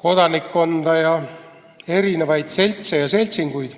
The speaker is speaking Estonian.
kodanikkonda ja erinevaid seltse ja seltsinguid.